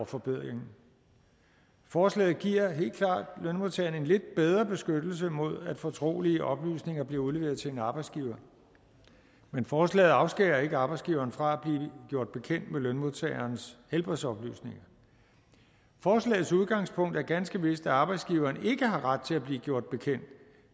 forbedringen forslaget giver helt klart lønmodtageren en lidt bedre beskyttelse mod at fortrolige oplysninger bliver udleveret til en arbejdsgiver men forslaget afskærer ikke arbejdsgiveren fra at blive gjort bekendt med lønmodtagerens helbredsoplysninger forslagets udgangspunkt er ganske vist at arbejdsgiveren ikke har ret til at blive gjort bekendt